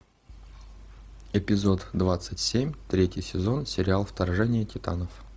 эпизод двадцать семь третий сезон сериал вторжение титанов